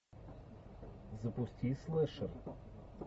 запусти слэшер